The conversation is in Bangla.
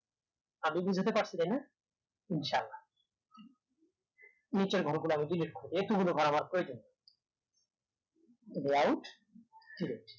আমি বোঝাতে পারছি তাইনা ইনশাহ আল্লাহ নিচের ঘর গুলা আমি delete করবো এতো গুলা ঘর আমার প্রয়োজন নেই right select